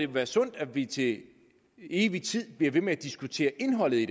være sundt at vi til evig tid bliver ved med at diskutere indholdet i